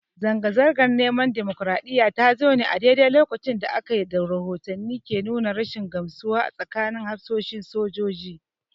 Zanga-zangar neman dimokraɗiyya ta zo ne a daidai lokacin da rahotanni ke nuna rashin gamsuwa a tsakanin hafsoshin sojojin.